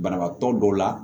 Banabaatɔ dɔw la